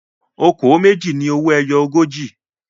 "Okòó méjì" ni owó ẹjọ́ ogójì.